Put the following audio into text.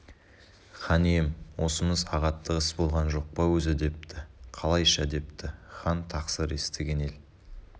хан ием осымыз ағаттық іс болған жоқ па өзі депті қалайша депті хан тақсыр естіген ел